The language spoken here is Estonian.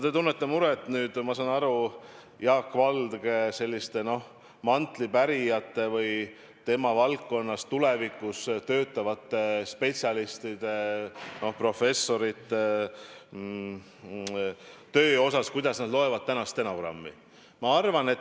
Te tunnete muret, ma saan aru, Jaak Valge mantlipärijate või tema valdkonnas tulevikus töötavate spetsialistide, professorite töö pärast, et kuidas nad loevad tänast stenogrammi.